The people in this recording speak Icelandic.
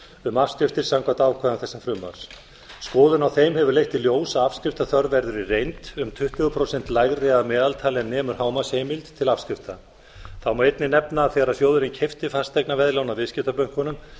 um afskriftir samkvæmt ákvæðum þessa frumvarps skoðun á þeim hefur leitt í ljós að afskriftaþörf verður í reynd um tuttugu prósentum lægri að meðaltali en nemur hámarksheimild til afskrifta þá má einnig nefna að þegar sjóðurinn keypti fasteignaveðlán af viðskiptabönkunum